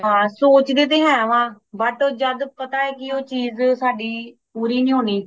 ਹੈ ਸੋਚਦੇ ਤੇ ਹੇ ਵਾ but ਜਾਂਦਾ ਪਤਾ ਹੇ ਉਹ ਚੀਜ ਸਾਡੀ ਪੂਰੀ ਨਹੀਂ ਹੋਣੀ